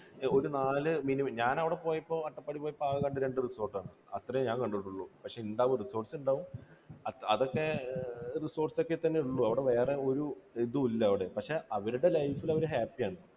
ഒരു നാല് minimum, ഞാൻ അവിടെ പോയപ്പോൾ അട്ടപ്പാടിയിൽ പോയപ്പോൾ ആകെ കണ്ടത് രണ്ടു resort ആണ്. അത്രയും ഞാൻ കണ്ടിട്ടുണ്ട്. പക്ഷേ ഉണ്ടാകും. resorts ഉണ്ടാകും. അതൊക്കെ resorts ഒക്കെ തന്നെ ഉള്ളൂ. അവിടെ വേറെ ഒരു ഇതും ഇല്ല അവിടെ. പക്ഷേ അവരുടെ life ൽ അവർ happy യാണ്.